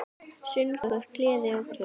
Söngur, gleði og knús.